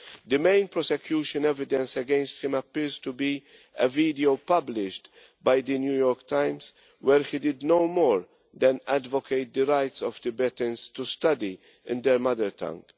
The main prosecution evidence against him appears to be a video published by the New York Times where he did no more than advocate the rights of Tibetans to study in their mother tongue.